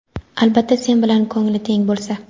Albatta sen bilan ko‘ngli teng bo‘lsa.